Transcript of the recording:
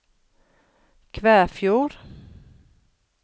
Kvæfjord